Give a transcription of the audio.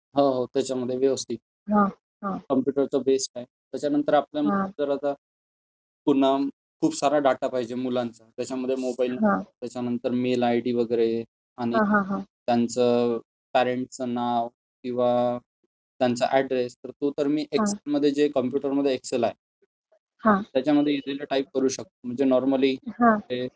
हो हो त्याच्यामध्ये व्यवस्थित. कॉम्प्युटर तर बेस्ट आहे. त्याच्यानंतर आपण जर पुन्हा खूप सारा डेटा पाहिजे मुलांचा, त्याच्यामध्ये मोबाईल नंबर, त्याच्यानंतर मेल आयडी वगैरे आणि त्यांचं पॅरेण्टचं नाव किंवा त्यांचं ऍड्रेस तर ते तर मी कॉम्प्युटरमध्ये जो एक्सेल आहे त्याच्यामध्ये सहज टाईप करू शकतो म्हणजे नॉर्मली